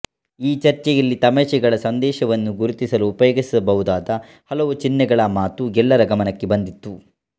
ಈ ಚರ್ಚೆಯಲ್ಲಿ ತಮಾಷೆಗಳ ಸಂದೇಶವನ್ನು ಗುರುತಿಸಲು ಉಪಯೋಗಿಸಬಹುದಾದ ಹಲವು ಚಿನ್ಹೆಗಳ ಮಾತು ಎಲ್ಲರ ಗಮನಕ್ಕೆ ಬಂದಿತ್ತು